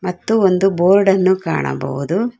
ಮತ್ತು ಒಂದು ಬೋರ್ಡ್ ಅನ್ನು ಕಾಣಬಹುದು.